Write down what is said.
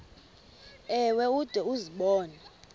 ewe ude uzibone